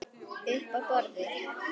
Uppi á borði?